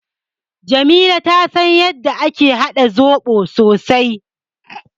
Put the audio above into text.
Jamila ta san yadda ake haɗa zoɓo sosai.